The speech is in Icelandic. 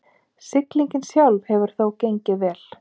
Siglingin sjálf hefur þó gengið vel